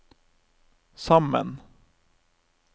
sammen